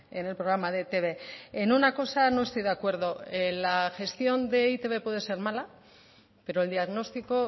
en el programa de etb en una cosa no estoy de acuerdo la gestión de eitb puede ser mala pero el diagnóstico